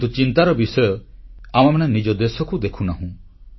କିନ୍ତୁ ଚିନ୍ତାର ବିଷୟ ଆମେମାନେ ନିଜ ଦେଶକୁ ଦେଖୁନାହୁଁ